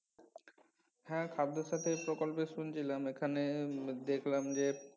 হ্যা খাদ্য সাথি প্রকল্পে শুনছিলাম এখানে উম দেখলাম যে